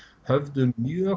höfðu mjög